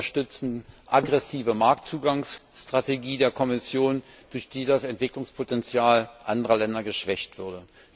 Sie unterstützen eine aggressive Marktzugangsstrategie der Kommission, durch die das Entwicklungspotenzial anderer Länder geschwächt würde.